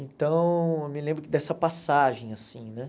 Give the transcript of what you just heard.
Então, eu me lembro dessa passagem, assim, né?